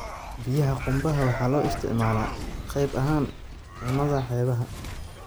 Biyaha qumbaha waxa loo isticmaalaa qayb ahaan cunnada xeebaha.